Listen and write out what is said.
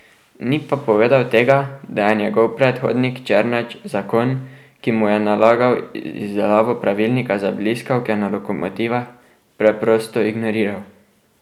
Ni pa povedal tega, da je njegov predhodnik Černač zakon, ki mu je nalagal izdelavo pravilnika za bliskavke na lokomotivah, preprosto ignoriral.